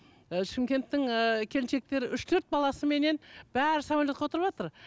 і шымкенттің ііі келіншектері үш төрт баласыменен бәрі самолетке отырватыр